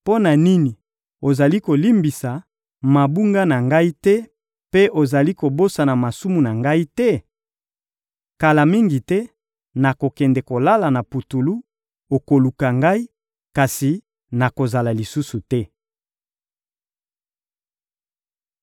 Mpo na nini ozali kolimbisa mabunga na ngai te mpe ozali kobosana masumu na ngai te? Kala mingi te, nakokende kolala na putulu; okoluka ngai, kasi nakozala lisusu te.»